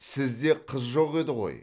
сізде қыз жоқ еді ғой